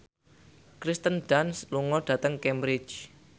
Kirsten Dunst lunga dhateng Cambridge